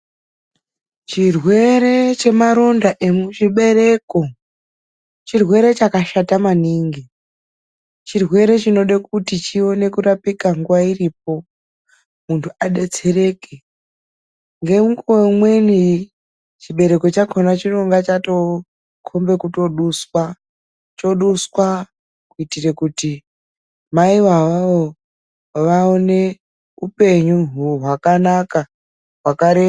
Chirwere chemaroda emuchibereko chirwere chakashata maningi. Chirwere chinode kuti chione kurapika nguwa iripo, muntu adetsereke. Ngemukuwo umweni chibereko chakona chinonga chatokomba kuduswa. Choduswa kuitira kuti maivo avavo vaone upenyu hwakanaka, hwakareba.